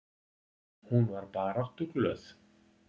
Hún var baráttuglöð.